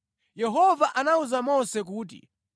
Yehova anawuza Mose kuti,